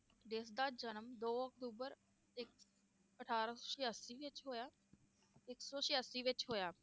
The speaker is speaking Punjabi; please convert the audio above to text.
ਜਿਸ ਦਾ ਜਨਮ ਦੋ ਅਕਤੂਬਰ ਇਕ~ ਅਠਾਰਾਂ ਸੌ ਛਯਾਸੀ ਵਿਚ ਹੋਇਆ, ਇਕ ਸੌ ਛਯਾਸੀ ਵਿਚ ਹੋਇਆ,